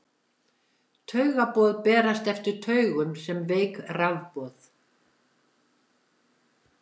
taugaboð berast eftir taugum sem veik rafboð